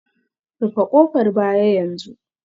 Rufe kofar baya yanzu